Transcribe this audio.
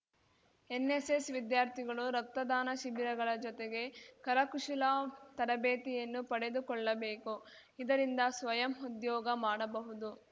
NSS ವಿದ್ಯಾರ್ಥಿಗಳು ರಕ್ತದಾನ ಶಿಬಿರಗಳ ಜೊತೆಗೆ ಕರ ಕುಶಲ ತರಬೇತಿಯನ್ನು ಪಡೆದುಕೊಳ್ಳಬೇಕು ಇದರಿಂದ ಸ್ವಯಂ ಉದ್ಯೋಗ ಮಾಡಬಹುದು